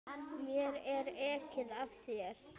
Mér er ekið af þér.